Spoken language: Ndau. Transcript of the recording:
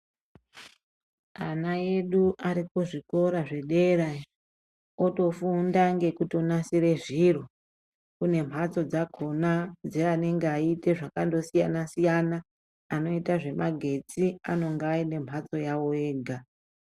Ana edu ari kuzvikora zvedera otofunda ngekutonasire zviro, kune mhatso dzakona dzeanonge achiite zvakatosiyana siyana, anoita zvemagetsi anonga aine mbatso yawo ega.